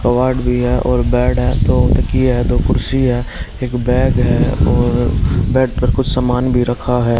Award भी है और बैड है दो ताकिये है दो कुर्सी है एक बैग है और बैड पर कुछ समान भी रखा है।